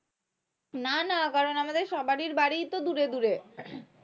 না না কারণ আমাদের সবারই বাড়ি তো দূরে দূরে